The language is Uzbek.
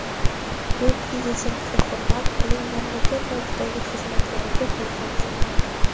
Bu prezidentga hurmat, uning mamlakat oldidagi xizmatlariga bo‘lgan hurmat.